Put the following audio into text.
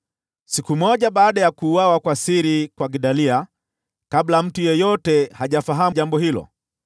Siku moja baada ya kuuawa kwa siri kwa Gedalia, kabla mtu yeyote hajafahamu jambo hilo,